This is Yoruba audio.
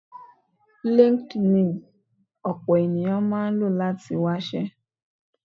LinkedIn ni ọ̀pọ̀ ènìyàn máa ń lò láti fi wáṣẹ́.